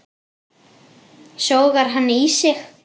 Sogar hann í sig.